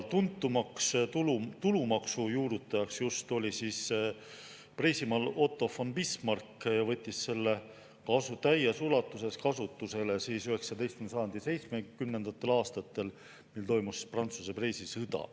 Tuntuimaks tulumaksu juurutajaks Preisimaal oli Otto von Bismarck, kes võttis selle täies ulatuses kasutusele 19. sajandi 70. aastatel, mil toimus Prantsuse-Preisi sõda.